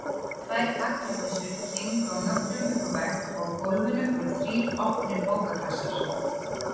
Tvær haglabyssur héngu á nöglum uppi á vegg og á gólfinu voru þrír opnir bókakassar.